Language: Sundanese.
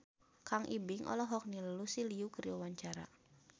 Kang Ibing olohok ningali Lucy Liu keur diwawancara